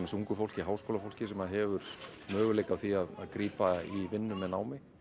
ungu fólki háskólafólki sem hefur möguleika á því að grípa í vinnu með námi